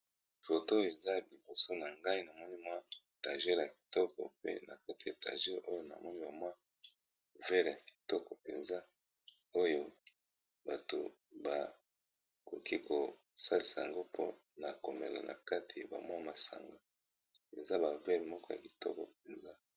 Foto eza liboso na ngai na moni mwa tager ya kitoko, pe na kati ya etager oyo na moni ba mwa verre ya kitoko mpenza oyo bato bakoki ko salisa yango mpona komela na kati ya ba mwa masanga eza ba verre moko ya kitoko mpenza.